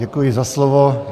Děkuji za slovo.